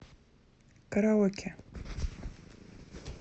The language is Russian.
караоке